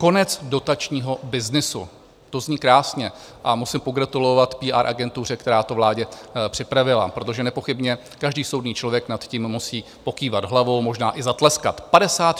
Konec dotačního byznysu - to zní krásně a musím pogratulovat PR agentuře, která to vládě připravila, protože nepochybně každý soudný člověk nad tím musí pokývat hlavou, možná i zatleskat.